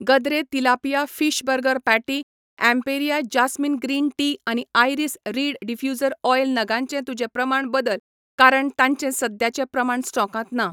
Gadre tilapia fish burger patty, Emperia jasmine green tea आनी iris reed diffuser oil नगांचें तुजें प्रमाण बदल कारण तांचे सद्याचे प्रमाण स्टॉकांत ना.